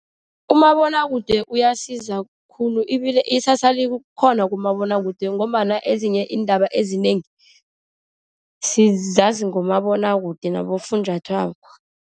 Umabonwakude uyasiza khulu. Ibile iksasa likhona kumabonwakude, ngombana ezinye iindaba ezinengi, sizazi ngomabonwakude nabofunjathwako.